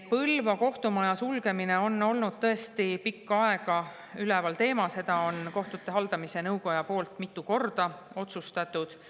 Põlva kohtumaja sulgemine on olnud tõesti pikka aega üleval, seda on kohtute haldamise nõukoda mitu korda otsustanud.